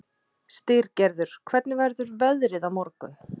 Styrgerður, hvernig verður veðrið á morgun?